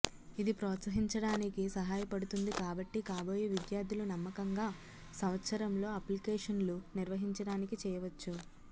ఇది ప్రోత్సహించడానికి సహాయపడుతుంది కాబట్టి కాబోయే విద్యార్థులు నమ్మకంగా సంవత్సరంలో అప్లికేషన్లు నిర్వహించడానికి చేయవచ్చు